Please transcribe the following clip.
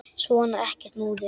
Svona, ekkert múður.